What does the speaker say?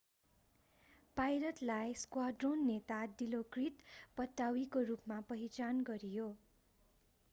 पाइलटलाई squadron नेता Dilokrit पट्टावीको रूपमा पहिचान गरियो